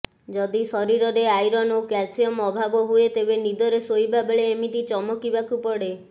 ଯଦି ଶରୀରରେ ଆଇରନ ଓ କ୍ୟାଲସିୟମ ଅଭାବ ହୁଏ ତେବେ ନିଦରେ ଶୋଇବା ବେଳେ ଏମିତି ଚମକିବାକୁ ପଡେ